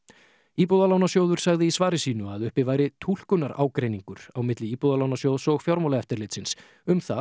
íbúðalánasjóður sagði í svari sínu að uppi væri túlkunarágreiningur á milli Íbúðalánasjóðs og Fjármálaeftirlitsins um það